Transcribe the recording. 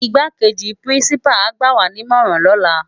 Igbákéji pirinsipá á gbàwá ni imòrán lòlá